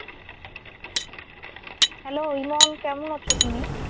Hello Emon কেমন আছো তুমি?